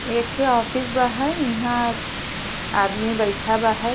एखे ऑफिस बा हई। इहाँ आदमी बैठा बा हई।